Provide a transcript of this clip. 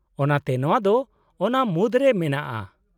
-ᱚᱱᱟᱛᱮ ᱱᱚᱶᱟ ᱫᱚ ᱚᱱᱟ ᱢᱩᱫᱨᱮ ᱢᱮᱱᱟᱜᱼᱟ ᱾